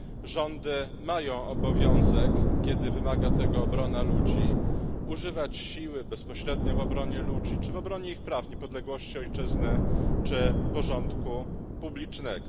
Rządy mają obowiązek, kiedy wymaga tego obrona ludzi, używać siły bezpośrednio w obronie ludzi czy w obronie ich praw, niepodległości ojczyzny czy porządku publicznego.